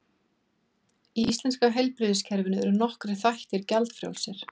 Í íslenska heilbrigðiskerfinu eru nokkrir þættir gjaldfrjálsir.